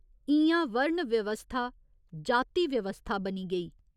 इ'यां वर्ण व्यवस्था जाति व्यवस्था बनी गेई।